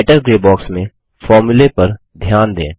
writer grey box में फॉर्मूले पर ध्यान दें